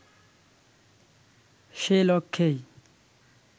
সে লক্ষ্যেই